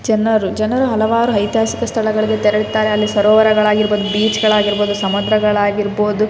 ಜನರು ಜನರು ಹಲವಾರು ಐತಿಹಾಸಿಕ ಸ್ಥಳಗಳಿಗೆ ತೆರಳ್ತಾರೆ ಅಲ್ಲಿ ಸರೋವರಗಳು ಆಗಿರ್ಬಹುದು ಬೀಚ್ ಗಳು ಆಗಿರ್ಬಹುದು ಸಮುದ್ರ ಗಳು ಆಗಿರ್ಬಹುದು.